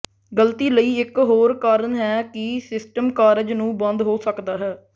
ਗਲਤੀ ਲਈ ਇੱਕ ਹੋਰ ਕਾਰਨ ਹੈ ਕਿ ਸਿਸਟਮ ਕਾਰਜ ਨੂੰ ਬੰਦ ਹੋ ਸਕਦਾ ਹੈ